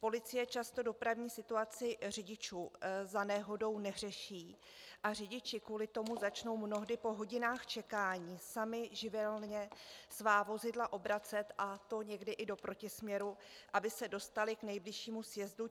Policie často dopravní situaci řidičů za nehodou neřeší a řidiči kvůli tomu začnou mnohdy po hodinách čekání sami živelně svá vozidla obracet, a to někdy i do protisměru, aby se dostali k nejbližšímu sjezdu.